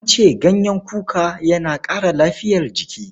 An ce ganyen kuka yana ƙara lafiyar jiki.